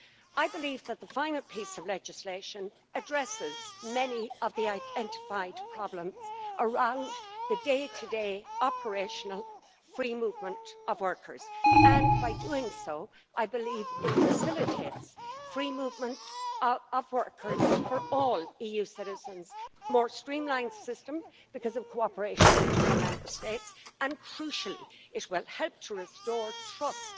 I believe that the final piece of legislation addresses many of the identified problems around the day to day operational free movement of workers, and by doing so, I believe it facilitates free movement of workers for all EU citizens and a more streamlined system because of cooperation between Member States, and crucially, it will help to restore trust